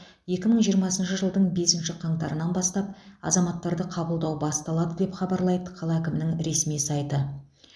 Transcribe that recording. екі мың жиырмасыншы жылдың бесінші қаңтарынан бастап азаматтарды қабылдау басталады деп хабарлайды қала әкімдігінің ресми сайты